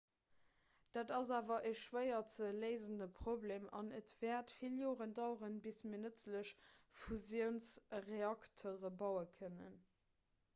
dat ass awer e schwéier ze léisende problem an et wäert vill joren daueren bis mir nëtzlech fusiounsreaktere baue kënnen